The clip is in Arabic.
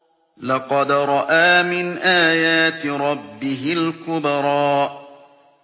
لَقَدْ رَأَىٰ مِنْ آيَاتِ رَبِّهِ الْكُبْرَىٰ